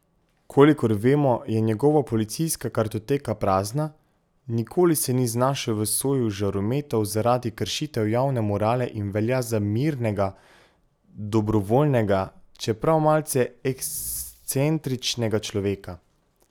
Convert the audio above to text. Kolikor vemo, je njegova policijska kartoteka prazna, nikoli se ni znašel v soju žarometov zaradi kršitev javne morale in velja za mirnega, dobrovoljnega, čeprav malce ekscentričnega človeka.